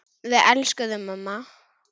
Við elskum þig amma.